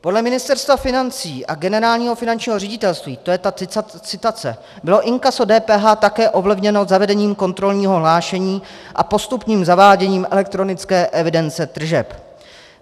Podle Ministerstva financí a Generálního finančního ředitelství - to je ta citace - bylo inkaso DPH také ovlivněno zavedením kontrolního hlášení a postupným zaváděním elektronické evidence tržeb.